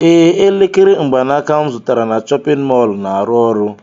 Ee, elekere mgbanaka m zụtara na chọpịn mọọlụ na-arụ ọrụ.